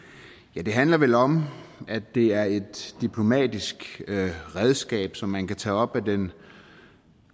ja det handler vel om at det er et diplomatisk redskab som man kan tage op af den